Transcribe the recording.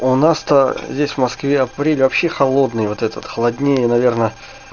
у нас то здесь в москве апрель вообще холодный вот этот холоднее наверное